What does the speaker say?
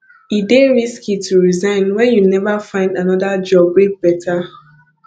e dey risky to resign wen you neva find anoda job wey beta